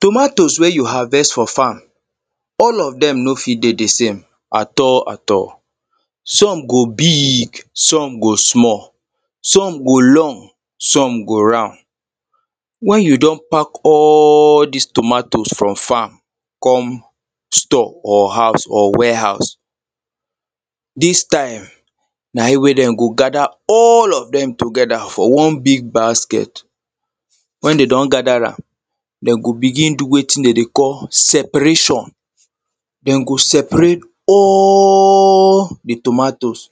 tomatoes wey you harvest for farm all of them no fit dey the same at all at all some go big some go small some go long some go round when you don pack all this tomatoes from farm come store or house or warehouse this time na im wey they go gather all of them together for one big basket when they don gather am them go begin do wetin they dey call separation them go separate all the tomatoes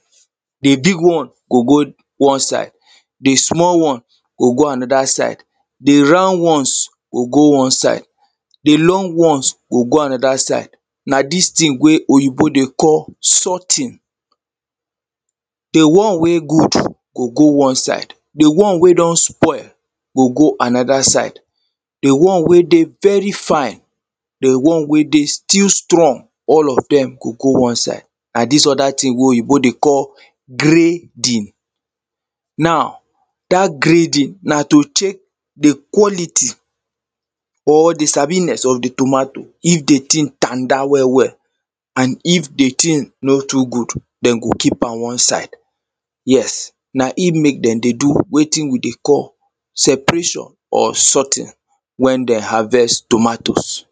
the big one go go one side the small one go go another side the round ones go go one side the long ones go go another side na this thing wey oyibo dey call sorting the one wey good go go one side the one wey don spoil go go another side the one wey dey very fine the one wey still strong all of them go go one side and this other thing wey oyibo dey call grading now that grading na to take the quality or the sabiness of the tomato if the thing tanda well well and if the thing no too good they go keep am one side yes na im make they dey do wetin we dey call separation or sorting when they harvest tomatoes